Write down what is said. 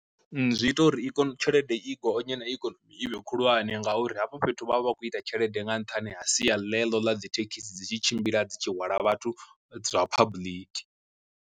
Zwi ita uri i kone tshelede i gonye na ikonomi i vhe khulwane ngauri hafho fhethu vhavha vha khou ita tshelede nga nṱhani ha sia ḽeḽo ḽa dzi thekhisi dzi tshi tshimbila dzi tshi hwala vhathu dza public.